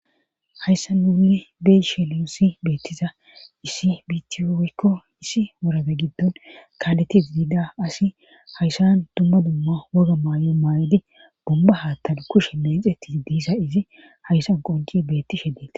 hayssan nuunni be7ishe nuussi beettiza issi bittiyo woykko issi worade giddon kaaleti de7ida asi hayssan dumma dumma woga maay7o maay7idi bumba haattan kushe meecetidi de7iza izi hayssan qonci beettishe dete